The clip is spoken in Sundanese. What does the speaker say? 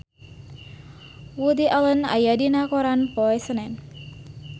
Woody Allen aya dina koran poe Senen